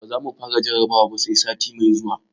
Ba za mu fara jarrabawar ba, sai sati mai zuwa.